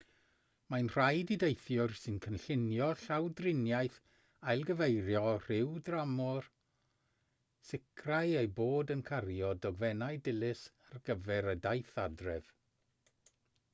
mae'n rhaid i deithwyr sy'n cynllunio llawdriniaeth ailgyfeirio rhyw dramor sicrhau eu bod yn cario dogfennau dilys ar gyfer y daith adref